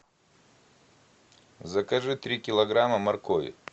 закажи три килограмма моркови